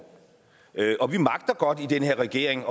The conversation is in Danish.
og vi magter godt i den her regering